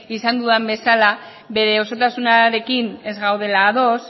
nahi izan dudan bezala bere osotasunarekin ez gaudela ados